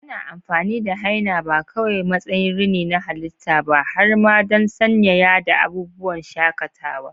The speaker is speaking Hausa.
Ana amfani da henna ba kawai a matsayin rini na halitta ba, har ma don sanyaya da abubuwan shakatawa.